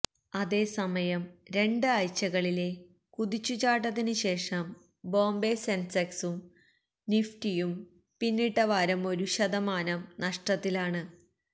അതേ സമയം രണ്ട് ആഴ്ച്ചകളിലെ കുതിച്ചു ചാട്ടത്തിന് ശേഷം ബോംബെ സെൻസെക്സും നിഫ്റ്റിയും പിന്നിട്ടവാരം ഒരു ശതമാനം നഷ്ടത്തിലാണ്